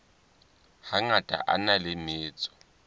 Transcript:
hangata a na le metso